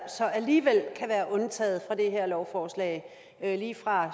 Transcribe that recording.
så alligevel kan være undtaget fra det her lovforslag lige fra